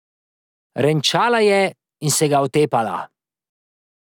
Renčala je in se ga otepala.